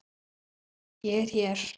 Ég er hér!